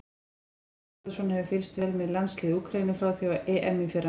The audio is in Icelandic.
Freyr Alexandersson hefur fylgst vel með landsliði Úkraínu frá því á EM í fyrra.